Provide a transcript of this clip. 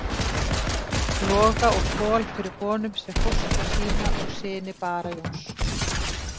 Loga og Kol fyrir honum sem fóstra sína og syni Bara Jóns.